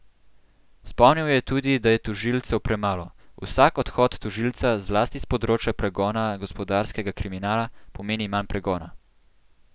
Spomnil je tudi, da je tožilcev premalo: 'Vsak odhod tožilca, zlasti s področja pregona gospodarskega kriminala, pomeni manj pregona.